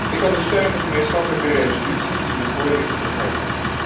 Ik ondersteun de gemeenschappelijke resolutie die nu voorligt van harte.